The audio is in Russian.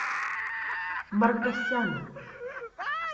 маркосяна